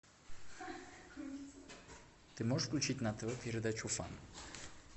ты можешь включить на тв передачу фан